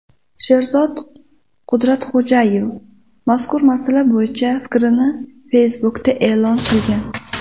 Sherzod Qudratxo‘jayev mazkur masala bo‘yicha fikrlarini Facebook’da e’lon qilgan .